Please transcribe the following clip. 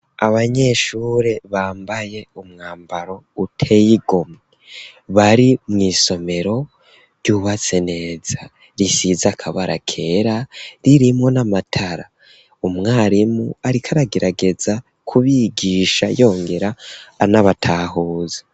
Abanyeshuri bambaye umwambaro uteye igomwe bari mw'isomero ry'ubatse neza risize akabara keza ririmwo n'amatara umwarimu ariko aragerageza ku bigisha yongera anabatahuza.